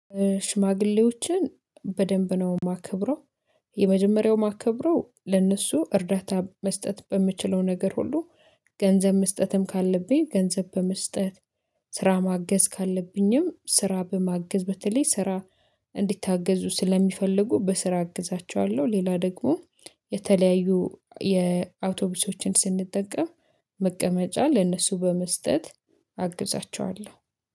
ሽማግሌዎችን በደንብ ነው የማከብረው። የመጀመሪያው ማከብረው ለእነሱ እርዳታ መስጠት በምችለው ነገር ሁሉ ገንዘብ መስጠትም ካለብኝ ገንዘብ በመስጠት ስራ ማገዝ ካለብኝም ስራ በማገዝ በተለይ ስራ እንዲታገዙ ስለሚፈልጉ በስራ አግዛቸዋለሁ። ሌላ ደግሞ የተለያዩ የአውቶቡሶችን ስንጠቀም መቀመጫ ለነሱ በመስጠት አግዛቸዋለሁ